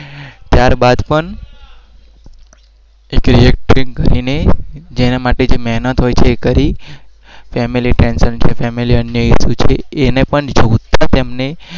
ત્યાર બાદ પણ